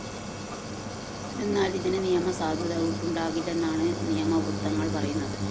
എന്നാല്‍ ഇതിന് നിയമസാധുത ഉണ്ടാകില്ലെന്നാണ് നിയമവൃത്തങ്ങള്‍ പറയുന്നത്